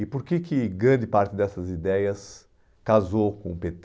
E por que que grande parte dessas ideias casou com o pê tê?